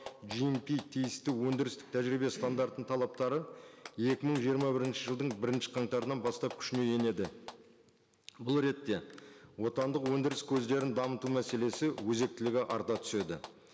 тиісті өндірістік тәжірибе стандарттың талаптары екі мың жиырма бірінші жылдың бірінші қаңтарынан бастап күшіне енеді бұл ретте отандық өндіріс көздерін дамыту мәселесі өзектілігі арта түседі